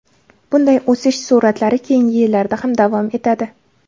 Bunday o‘sish sur’atlari keyingi yillarda ham davom etadi.